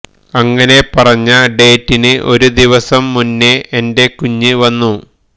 അങ്ങനെ പറഞ്ഞ ഡേറ്റിന് ഒരു ദിവസം മുന്നേ എന്റെ കുഞ്ഞ് വന്നു